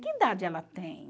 Que idade ela tem?